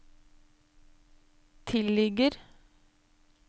tilligger